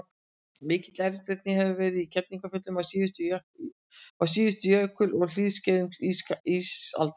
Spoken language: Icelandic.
mikil eldvirkni hefur verið í kerlingarfjöllum á síðustu jökul og hlýskeiðum ísaldar